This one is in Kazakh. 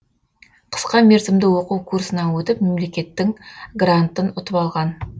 қысқа мерзімді оқу курсынан өтіп мемлекеттің грантын ұтып алған